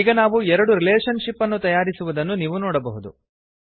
ಈಗ ನಾವು ಎರಡು ರಿಲೇಷನ್ ಶಿಪ್ಸ್ ಅನ್ನು ತಯಾರಿಸಿರುವುದನ್ನು ನೀವು ನೋಡಬಹುದು